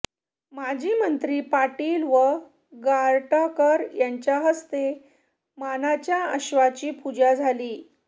माजी मंत्री पाटील व गारटकर यांच्या हस्ते मानाच्या अश्वाची पूजा झाली